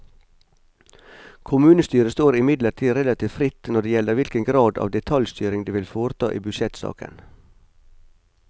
Kommunestyret står imidlertid relativt fritt når det gjelder hvilken grad av detaljstyring det vil foreta i budsjettsaken.